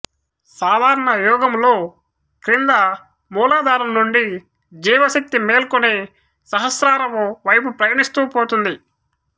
సాధారణయోగములో క్రింద మూలాధారము నుండి జీవశక్తి మేల్కొని సహస్రారము వైపు ప్రయాణిస్తూ పోతుంది